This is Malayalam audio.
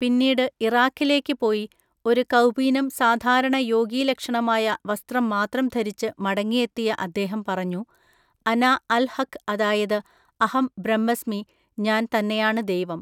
പിന്നീട് ഇറാഖിലേക്ക് പോയി ഒരു കൗപീനം സാധാരണ യോഗീലക്ഷണമായ വസ്ത്രം മാത്രം ധരിച്ച് മടങ്ങിയെത്തിയ അദ്ദേഹം പറഞ്ഞു അന അൽ ഹഖ് അതായത് അഹം ബ്രഹ്മസ്മി ഞാൻ തന്നെയാണ് ദൈവം.